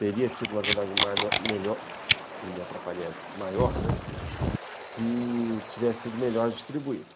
Teria tido uma vendagem melhor, e me atrapalhei aqui, maior, né, se tivesse sido melhor distribuído.